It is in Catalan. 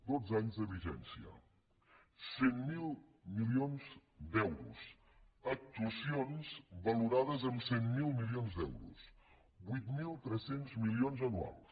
dotze anys de vigència cent miler milions d’euros actuacions valorades en cent miler milions d’euros vuit mil tres cents milions anuals